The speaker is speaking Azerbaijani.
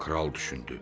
Kral düşündü: